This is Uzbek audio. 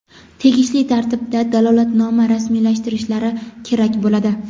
tegishli tartibda dalolatnoma rasmiylashtirishlari kerak bo‘ladi.